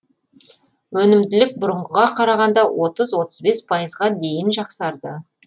өнімділік бұрынғыға қарағанда отыз отыз бес пайызға дейін жақсарды